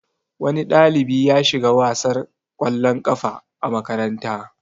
Wani ɗalibi ya shiga wasar kwallon kafa a makaranta.